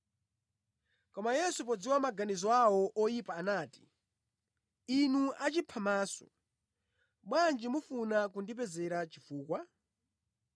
Koma Yesu podziwa maganizo awo oyipa anati, “Inu achiphamaso, bwanji mufuna kundipezera chifukwa?